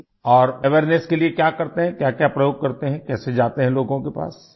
اور اویئرنیس کے لیے کیا کرتے ہیں، کیا کیا تجربے کرتے ہیں، کیسے جاتے ہیں لوگوں کے پاس؟